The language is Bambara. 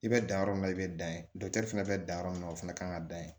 I bɛ dan yɔrɔ min na i bɛ dan ye dɔkitɛri fɛnɛ bɛ dan yɔrɔ min na o fana kan ka dan yen